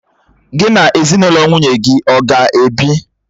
Gị na ezinụlọ nwunye gị ọ ga-ebi?